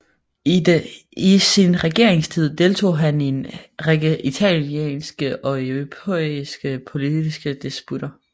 I sin regeringstid deltog han i en række italienske og europæiske politiske disputter